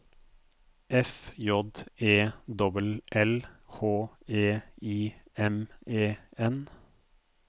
F J E L L H E I M E N